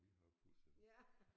Vi har pusser